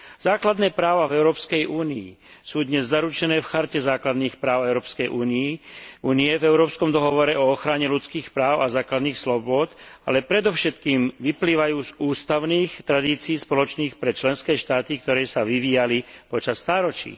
Základné práva v Európskej únii sú dnes zaručené v Charte základných práv Európskej únie, v Európskom dohovore o ochrane ľudských práv a základných slobôd, ale predovšetkým vyplývajú z ústavných tradícií spoločných pre členské štáty, ktoré sa vyvíjali počas stáročí.